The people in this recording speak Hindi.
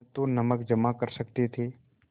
न तो नमक जमा कर सकते थे